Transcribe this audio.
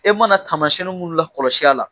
E mana kamasiyɛn nin minnu lakɔlɔsi a la